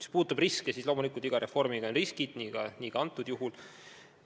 Mis puudutab riske, siis loomulikult esineb iga reformi puhul riske, nii ka praegusel juhul.